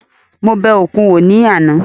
Mo bẹ òkun wò ní àná